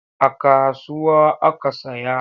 A kasuwa aka saya.